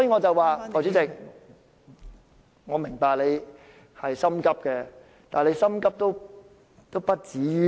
代理主席，我明白你很心急，但也不急於一時。